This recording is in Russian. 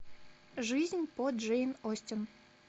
жизнь по джейн остин